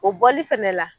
O bɔli fɛnɛ la